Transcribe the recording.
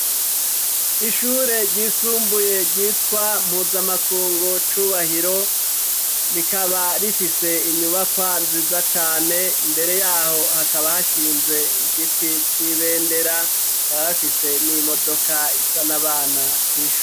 Ishure ryisumbuye ryitwa Mpuzamakungu Cubahiro, rikaba rifise inyubakwa nziza cane, imbere yaho hakaba hashinze igiti c'ibendera, bakaba bafise n'imodoka izan'abana kw'ishure.